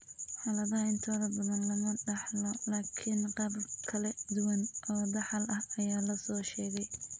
Xaaladaha intooda badan lama dhaxlo, laakiin qaabab kala duwan oo dhaxal ah ayaa la soo sheegay.